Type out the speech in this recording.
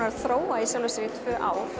að þróa í sjálfu sér í tvö ár